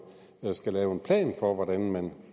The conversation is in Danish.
skal lave en plan for hvordan man